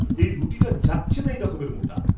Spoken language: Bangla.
এই রুটিটা যাচ্ছেতাই রকমের মোটা।